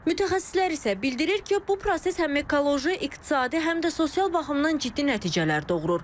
Mütəxəssislər isə bildirir ki, bu proses həm ekoloji, iqtisadi, həm də sosial baxımdan ciddi nəticələr doğurur.